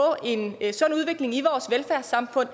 en sund udvikling i vores velfærdssamfund